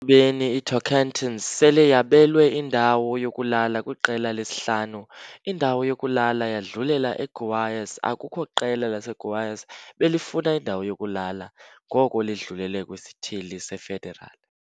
Ekubeni iTocantins sele yabelwe indawo yokulala kwiQela lesi-5 indawo yokulala yadlulela eGoias Akukho qela laseGoias belifuna indawo yokulala ngoko lidlulele kwiSithili se-Federal.